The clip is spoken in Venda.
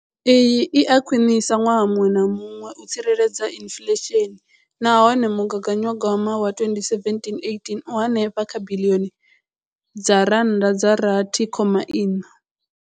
Iyi i a khwiniswa ṅwaha muṅwe na muṅwe u tsireledza inflesheni nahone mugaganyagwama wa 2017, 18 u henefha kha biḽioni dza R6.4.